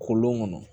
Kolon kɔnɔ